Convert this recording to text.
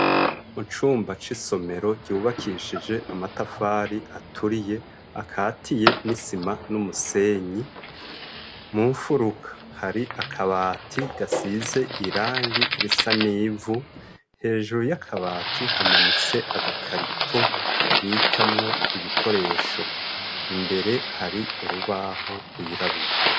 Mucumba c'isomero ryubakishije amatafari aturiye akatiye n'isima n'umusenyi mu mfuruka hari akabati gasize irangi risa n'ivu hejuru y'akabati hamanitse agakarito babikamwo ibikoresho imbere hari urubaho gwirabura.